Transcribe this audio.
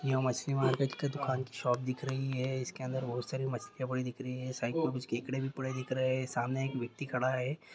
ये मछली मार्केट के दुकान की शॉप दिख रही है। इस के अंदर बहोत सारी मछलियाँ पड़ी दिख रही हैं । साइड में कुछ केकड़े पड़े दिख रहे हैं। सामने एक व्यक्ति खड़ा है।